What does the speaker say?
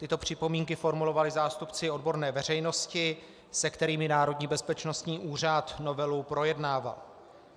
Tyto připomínky formulovali zástupci odborné veřejnosti, se kterými Národní bezpečnostní úřad novelu projednával.